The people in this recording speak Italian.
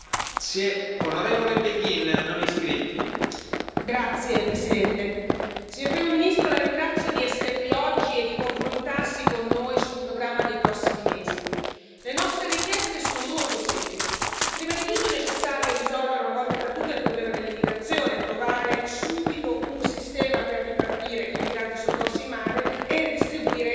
Signor Presidente, onorevoli colleghi, signor Primo ministro, La ringrazio di essere qui oggi e di confrontarsi con noi sul programma dei prossimi mesi. Le nostre richieste sono molto semplici. Prima di tutto è necessario risolvere, una volta per tutte, il problema dell'immigrazione e trovare subito un sistema per ripartire i migranti soccorsi in mare e redistribuire i richiedenti asilo.